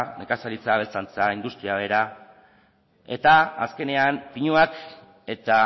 nekazaritza abeltzaintza industria bera eta azkenean pinuak eta